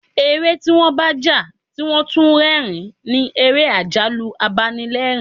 Eré tí wọ́n bá ń jà tí wón tún ń rẹ́rìn-ín ni ère àjálù-apanilerin.